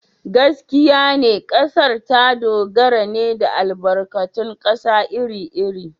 Gaskiya ne, kasar ta dogara ne da albarkatun kasa iri-iri.